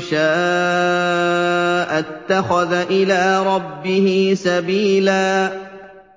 شَاءَ اتَّخَذَ إِلَىٰ رَبِّهِ سَبِيلًا